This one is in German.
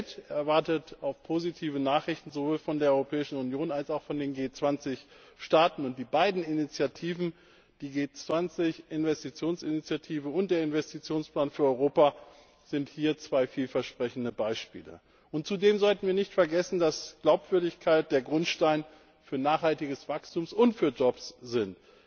Die Welt erwartet oft positive Nachrichten sowohl von der Europäischen Union als auch von den G20 Staaten. Die beiden Initiativen, die G20 Investitionsinitiative und der Investitionsplan für Europa, sind hier zwei vielversprechende Beispiele. Zudem sollten wir nicht vergessen, dass Glaubwürdigkeit der Grundstein für nachhaltiges Wachstum und für Jobs ist.